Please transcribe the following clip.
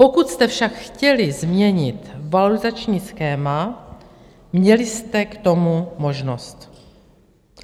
Pokud jste však chtěli změnit valorizační schéma, měli jste k tomu možnost.